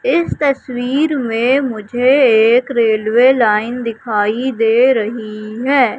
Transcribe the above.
इस तस्वीर में मुझे एक रेल्वे लाइन दिखाई दे रही है।